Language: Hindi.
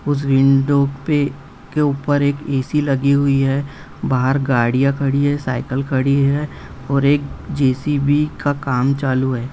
उस विंडो पे के ऊपर एक एसी लगी हुई है बाहर गाड़िया खड़ी है साइकिल खड़ी हैऔर एक जेसीबी का काम चालू है।